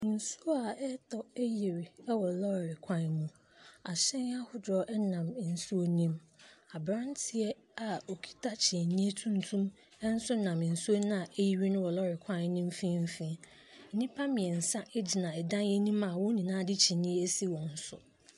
Nsuo a ɛretɔ ayiri wɔ lɔɔre kwan mu. Ahyɛn ahodoɔ nam nsuo no mu. Abranteɛ a okita kyinni tuntum nso nam nsuo a ayiri wɔ lɔɔre kwan no mfinfin. Nnipa mmiɛnsa gyina a wɔn nyinaa de kyinii asiwɔn so.